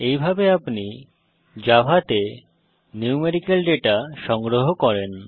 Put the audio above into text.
এইভাবে আপনি জাভাতে ন্যূমেরিকাল ডেটা সংগ্রহ করেন